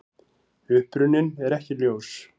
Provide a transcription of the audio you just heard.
Uppruninn er ekki ljós.